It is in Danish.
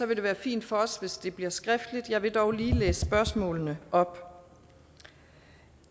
vil det være fint for os hvis det bliver skriftligt jeg vil dog lige læse spørgsmålene op